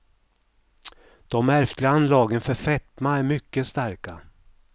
De ärftliga anlagen för fetma är mycket starka.